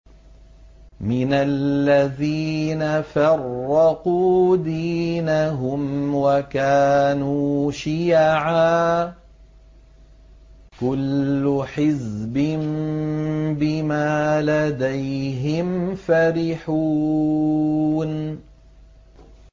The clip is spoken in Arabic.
مِنَ الَّذِينَ فَرَّقُوا دِينَهُمْ وَكَانُوا شِيَعًا ۖ كُلُّ حِزْبٍ بِمَا لَدَيْهِمْ فَرِحُونَ